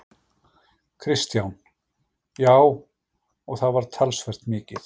Kristján: Já, og það var talsvert mikið?